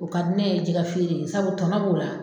O ka di ne ye jɛgɛ feere ye sabu tɔnɔ b'o la.